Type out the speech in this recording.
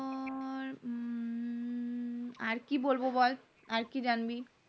আর কি বলবো বল আর কি জানবি